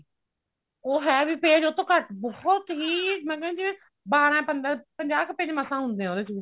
ਉਹ ਹੈ ਵੀ page ਉਹਤੋਂ ਘੱਟ ਬਹੁਤ ਹੀ ਮੈਂ ਕਹਿੰਦੀ ਹਾਂ ਜਿਵੇਂ ਬਾਰਾਂ ਪੰਦਰਾਂ ਪੰਜਾਹ ਕ page ਮਸਾਂ ਹੁੰਦੇ ਆ ਉਹਦੇ ਚ